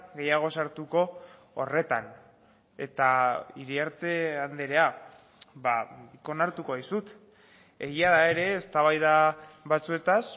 gehiago sartuko horretan eta iriarte andrea onartuko dizut egia ere eztabaida batzuetaz